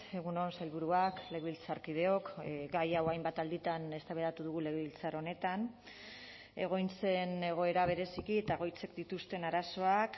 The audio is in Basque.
egun on sailburuak legebiltzarkideok gai hau hainbat alditan eztabaidatu dugu legebiltzar honetan egoitzen egoera bereziki eta egoitzek dituzten arazoak